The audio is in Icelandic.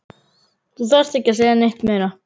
Þú þarft ekki að segja neitt meira